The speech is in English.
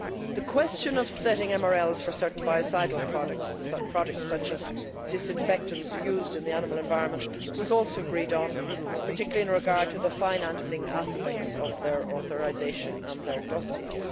The question of setting MRLs for certain biocidal products such as disinfectants used in the animal environment was also agreed on, particularly in regard to the financing aspects of their authorisation and their dossiers.